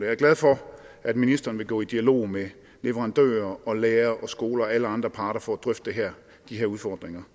er glad for at ministeren vil gå i dialog med leverandører lærere skoler og alle andre parter for at drøfte de her udfordringer